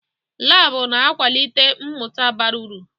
Laabụ̀ na-akwalite mmụta bara uru.